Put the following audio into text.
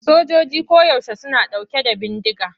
Sojojoji koyaushe suna ɗauke da bindiga.